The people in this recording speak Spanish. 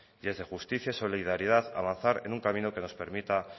y es de justicia solidaridad avanzar en un camino que nos permita